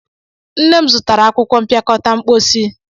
Nne m zụtara akwụkwọ mpịakọta mposi.